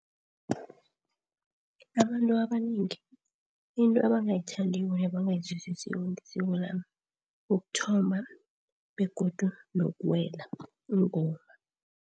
Abantu abanengi into abangayithandiko nabangayizwisisiko ngesiko lami, ukuthomba begodu nokuwela ingoma.